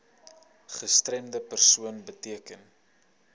gestremde persoon beteken